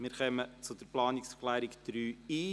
Wir kommen zu Planungserklärung 3.i.